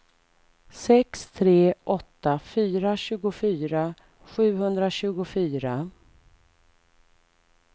sex tre åtta fyra tjugofyra sjuhundratjugofyra